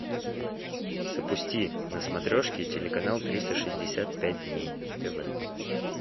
запусти на смотрешке телеканал триста шестьдесят пять дней тв